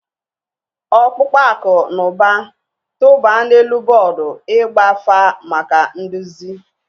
Ọkpụkpọ akụ na ụba, tụba n'elu bọọdụ ịgba afa maka nduzi.